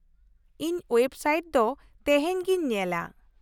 -ᱤᱧ web site ᱫᱚ ᱛᱮᱦᱮᱧ ᱜᱤᱧ ᱧᱮᱞᱟ ᱾